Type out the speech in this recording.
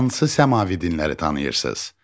Hansı səmavi dinləri tanıyırsınız?